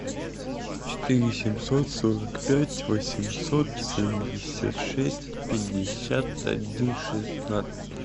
четыре семьсот сорок пять восемьсот семьдесят шесть пятьдесят один шестнадцать